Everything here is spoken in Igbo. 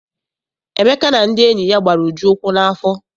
Emeka na ndị enyi ya gbara Uju ukwu n'afọ.